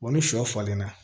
Wa ni sɔ falenna